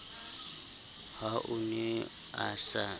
ha o ne a se